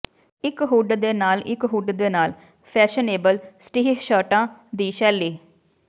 ਇੱਕ ਹੁੱਡ ਦੇ ਨਾਲ ਇੱਕ ਹੂਡ ਦੇ ਨਾਲ ਫੈਸ਼ਨੇਬਲ ਸਟੀਹਸ਼ਿਰਟਾਂ ਦੀ ਸ਼ੈਲੀ